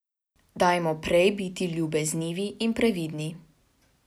Dajmo prej biti ljubeznivi in previdni.